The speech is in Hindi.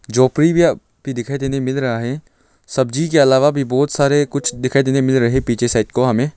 जो प्रिव्यू भी दिखाई देने मिल रहा है सब्जी के अलावा भी बहुत सारे कुछ दिखाई देने मिल रहे हैं पीछे साइड को हमें।